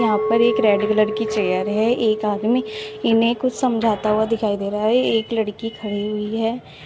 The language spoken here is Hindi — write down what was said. यहां पर एक रेड कलर की चेयर है एक आदमी इन्हें कुछ समझता हुआ दिखाई दे रहा है एक लड़की खड़ी हुई है।